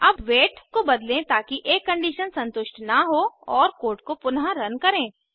अब वेट को बदलें ताकि एक कंडीशन संतुष्ट न हो और कोड को पुनःरन करें